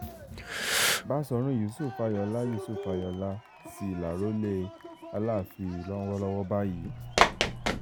báṣọ̀run yusuf ayọ̀ọ́lá yusuf ayọ̀ọ́lá sì lárọ́lẹ̀ alaafin lọ́wọ́lọ́wọ́ báyìí